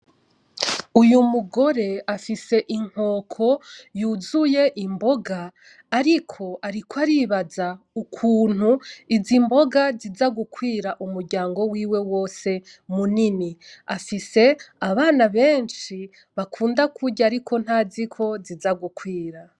Uyu mugore afise Inkoko yuzuye imboga ,ariko ,ariko aribaza ingene izo mbona zisa gukwira umuryango wiwe wose munini, afise abana benshi bakunda kirya ariko ntaziko zisa gukwira.